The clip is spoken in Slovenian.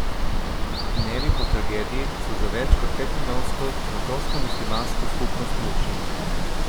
Dnevi po tragediji so za več kot petmilijonsko francosko muslimansko skupnost mučni.